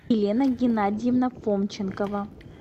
елена геннадьевна фомченкова